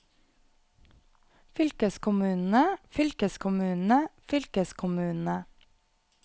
fylkeskommunene fylkeskommunene fylkeskommunene